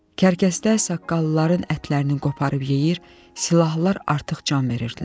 Kərkəslər saqqallıların ətlərini qoparıb yeyir, silahlılar artıq can verirdilər.